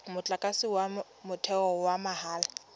motlakase wa motheo wa mahala